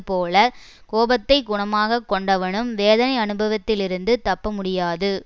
போலக் கோபத்தை குணமாக கொண்டவனும் வேதனை அனுபவத்திலிருந்து தப்ப முடியாது